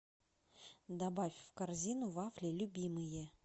добавь в корзину вафли любимые